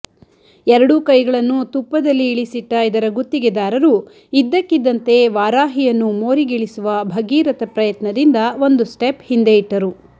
ಎರಡೂ ಕೈಗಳನ್ನು ತುಪ್ಪದಲ್ಲಿ ಇಳಿಸಿಟ್ಟ ಇದರ ಗುತ್ತಿಗೆದಾರರು ಇದ್ದಕ್ಕಿದ್ದಂತೆ ವಾರಾಹಿಯನ್ನು ಮೋರಿಗಿಳಿಸುವ ಭಗಿರಥ ಪ್ರಯತ್ನದಿಂದ ಒಂದು ಸ್ಟೆಪ್ ಹಿಂದೆ ಇಟ್ಟರು